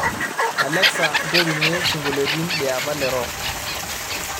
Alexa nterunye sinkoliotin liapa le rock